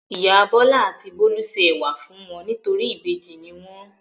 Ìyá Bọ́lá àti Bólú se ẹ̀wà fún wọn nítorí ìbejì ni wọ́n.